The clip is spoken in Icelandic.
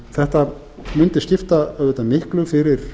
þetta mundi skipta auðvitað miklu fyrir